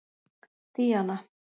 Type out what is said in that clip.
Díana